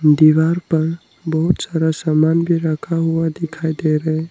दीवार पर बहुत सारा सामान भी रखा हुआ दिखाई दे रहा है।